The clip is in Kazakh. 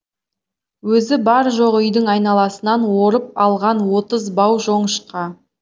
өзі бар жоғы үйдің айналасынан орып алған отыз бау жоңышқа